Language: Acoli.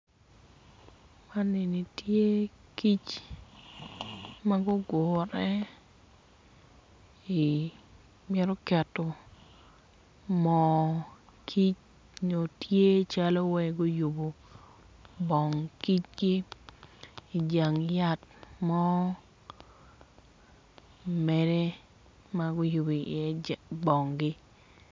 Man eni tye kic ma gugure i mito keto moo kic nyo tye wacci guyubo bong kicgi ijang yat mo mere ma guyubu iye bongi